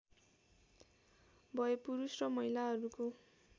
भए पुरुष र महिलाहरूको